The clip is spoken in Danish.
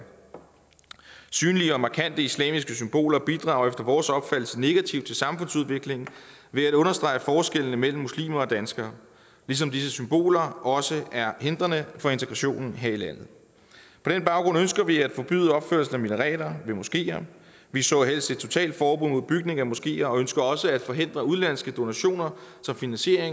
synlige og markante islamiske symboler bidrager efter vores opfattelse negativt til samfundsudviklingen ved at understrege forskellene mellem muslimer og danskere ligesom disse symboler også er hindrende for integrationen her i landet på den baggrund ønsker vi at forbyde opførelsen af minareter ved moskeer vi så helst et totalt forbud mod bygning af moskeer og ønsker også at forhindre udenlandske donationer som finansierer